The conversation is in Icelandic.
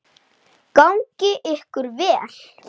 Gangi ykkur vel.